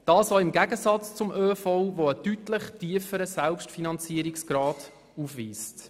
Dies im Gegensatz zum ÖV, der einen deutlich tieferen Selbstfinanzierungsgrad aufweist.